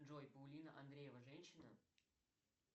джой паулина андреева женщина